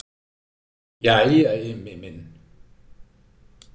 Jæja Immi minn.